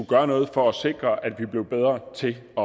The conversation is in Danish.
gøre noget for at sikre at man bliver bedre til at